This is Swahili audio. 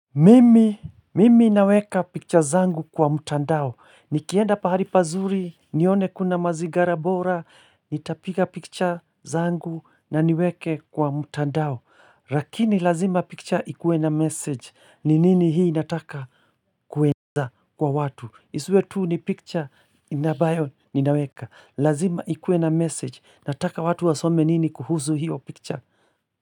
Mimi naweka picture zangu kwa mtandao, nikienda pahari pazuri, nione kuna mazigara bora, nitapiga picture zangu na niweke kwa mtandao, rakini lazima picture ikuwe na message, ni nini hii nataka kuweka kwa watu, isuwe tuu ni picture ile ambayo ninaweka, lazima ikuwe na message, nataka watu wasome nini kuhusu hiyo picture.